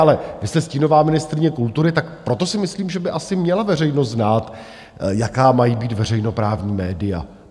Ale vy jste stínová ministryně kultury, tak proto si myslím, že by asi měla veřejnost znát, jaká mají být veřejnoprávní média.